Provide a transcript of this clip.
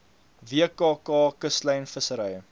wkk kuslyn vissery